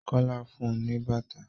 Kola fún un ní bàtà.